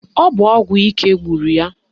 Ọ bụ ọgwụ ike gburu ya.